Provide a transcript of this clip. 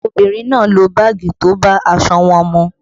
Àwọn obìnrin náà lo báàgì tó bá aṣọ wọn mu